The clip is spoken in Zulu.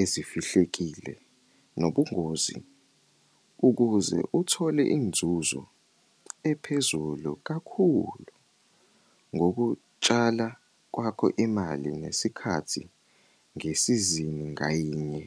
ezifihlekile nobungozi, ukuze uthole inzuzo ephezulu kakhulu ngokutshala kwakho imali nesikhathi ngesizini ngayinye.